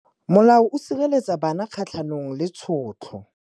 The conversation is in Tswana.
Molao o sireletsa bana kgatlhanong le tshotlo.